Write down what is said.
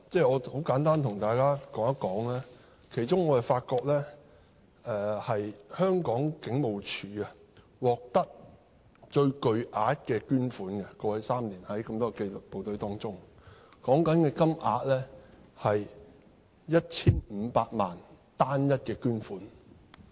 我很簡單對大家說說，其中我發覺香港警務處於過去3年在多個紀律部隊中，獲得最巨額的捐款，涉及單一捐款 1,500 萬元。